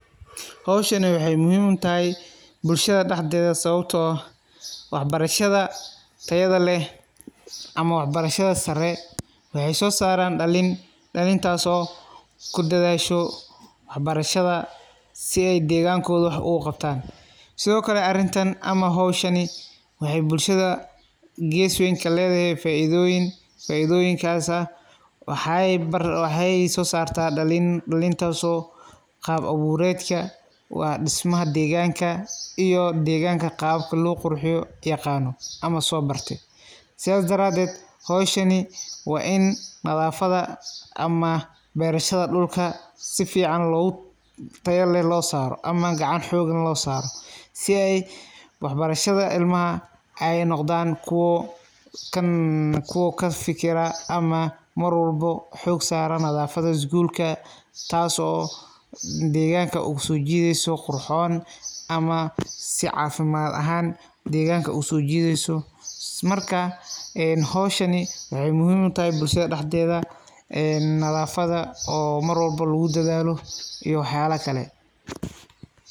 Howshan waxay muhim utahay bulshada dahdhedha sababto ah waxbarashada tayada leh ama waxbarasha sare waxay sosaran dalin, dalintas oo kudadasho waxbarasha sii aay degankodha wax oo kuqabtaan sidhokale arintan waxay gees weyn kaledhay faidoyin dalin farabadhan sosarto oo kaba kalabadhan kala leh sidhas daradeed waxbarasha waa in la hirgaliyo sii ay carurta ay unoqtan dadka wanagsan, marka howshan waxay muhiim utahay bulshada dhadhedha een nadhafadha oo marwalbo lakudhalo iyo waxyaba kale.